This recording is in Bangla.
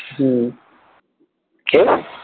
হম কি?